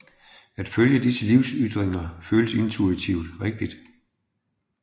At følge disse livsytringer føles intuitivt rigtigt